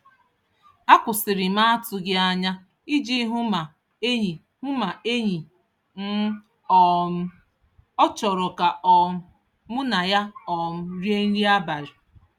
A kwụsịrị m n'atụghị anya iji hụ ma enyi hụ ma enyi m um ọ chọrọ ka um mụ na ya um rie nri abalị.